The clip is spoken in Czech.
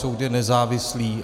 Soud je nezávislý.